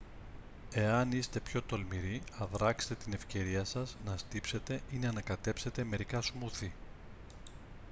εάν είστε πιο τολμηροί αδράξτε την ευκαιρία σας να στύψετε ή να ανακατέψετε μερικά σμούθι